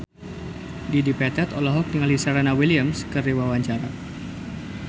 Dedi Petet olohok ningali Serena Williams keur diwawancara